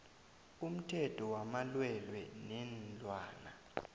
umthetho wamalwelwe weenlwana